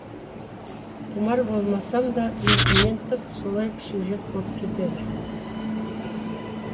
құмар болмасам да еркімнен тыс солай сюжет боп кетеді